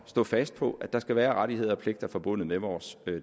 stå fast på at der skal være rettigheder og pligter forbundet med vores